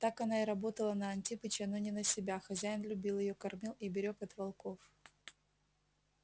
так она и работала на антипыча но не на себя хозяин любил её кормил и берег от волков